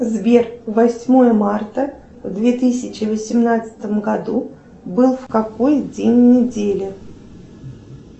сбер восьмое марта в две тысячи восемнадцатом году был в какой день недели